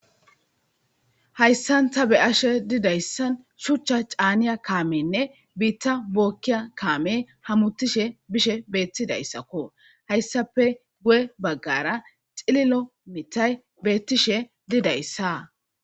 Hayssan ta be ashe didayssan shuchcha caaniya kaamenne biitta bookkiya kaame hamutishe bishe beettidayssakko, hayssape guye baggara xililo mitay beettishe didayssaa.